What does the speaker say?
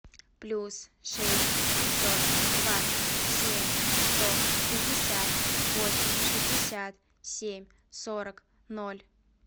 плюс шесть пятьсот двадцать семь сто шестьдесят восемь шестьдесят семь сорок ноль